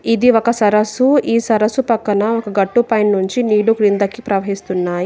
ఇది ఒక సరస్సు. ఈ సరస్సు పక్కన ఒక గట్టు పైనుంచి నీరు క్రిందకి ప్రవహిస్తున్నాయి.